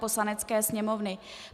Poslanecké sněmovny